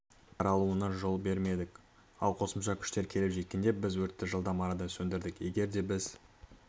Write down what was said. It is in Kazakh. таралуына жол бермедік ал қосымша күштер келіп жеткенде біз өртті жылдам арада сөндірдік егерде біз